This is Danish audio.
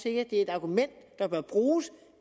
er et argument der bør bruges